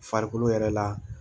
Farikolo yɛrɛ la